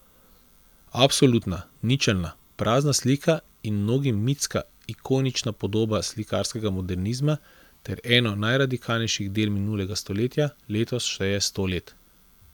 Absolutna, ničelna, prazna slika in mnogim mitska, ikonična podoba slikarskega modernizma ter eno najradikalnejših del minulega stoletja, letos šteje sto let.